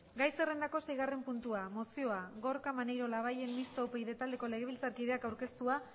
gai zerrendako seigarren puntua mozioa gorka maneiro labayen mistoa upyd taldeko legebiltzarkideak aurkeztua